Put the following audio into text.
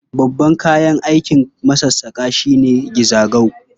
Babban kayan aikin masassaƙa shi ne gizago.